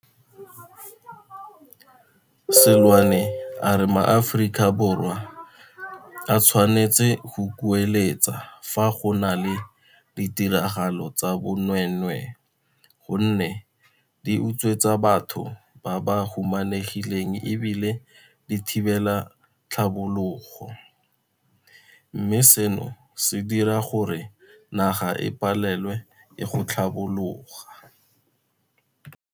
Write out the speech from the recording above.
Seloane a re maAforika Borwa a tshwanetse go kueletsa fa go na le ditiragalo tsa bonweenwee gonne di utswetsa batho ba ba humanegileng e bile di thibela tlhabologo, mme seno se dira gore naga e palelwe ke go tlhabologa.